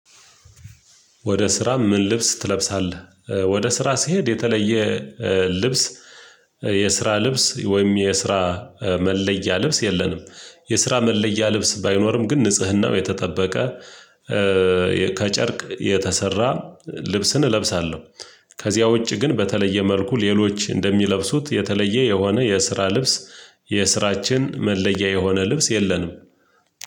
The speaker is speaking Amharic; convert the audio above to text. ወደ ስራ ምን ልብስ ትለብሳለ? ወደ ስራ ስሄድ የተለየ ልብስ የስራ ልብስ ወይም የስራ መለያ ልብስ የለንም፤ የስራ መለያ ልብስ ባይኖርም ግን ንጽህናው የተጠበቀ ከጨርቅ የተሰራ ልብስን እለብሳለሁ፤ ከዚያ ውጪ ግን በተለየ መልኩ ሌሎች እንደሚለብሱት የተለየ የሆነ የስራ ልብስ የስራችን መለያ የሆነ ልብስ የለንም።